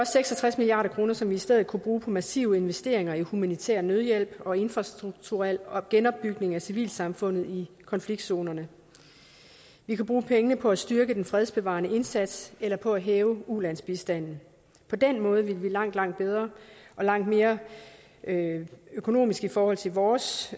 seks og tres milliard kr som vi i stedet kunne bruge på massive investeringer i humanitær nødhjælp og infrastrukturel genopbygning af civilsamfundene i konfliktzonerne vi kunne bruge pengene på at styrke den fredsbevarende indsats eller på at hæve ulandsbistanden på den måde ville vi langt langt bedre og langt mere økonomisk i forhold til vores